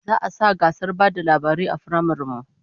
Za'a sa gasar ba da labarai a firamaren mu